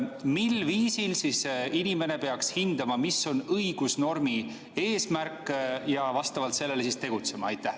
Mil viisil siis inimene peaks hindama, mis on õigusnormi eesmärk, ja vastavalt sellele tegutsema?